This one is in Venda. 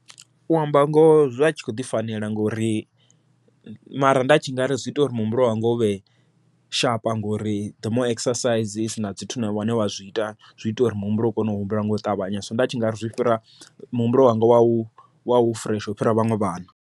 U amba ngoho zwa tshi kho ḓi fanela ngori mara nda tshi ngari zwi ita ungari muhumbulo wanga unge uvhe sharp ngori there more exercise wa zwi ita, zwi ita uri muhumbulo u kone u humbula nga u ṱavhanya so nda tshi ngari zwi fhira muhumbulo wanga wau, wau fureshe ufhira vhaṅwe vhana.